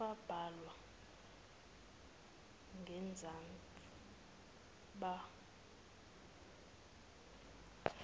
ababhalwe ngenzansi bakamufi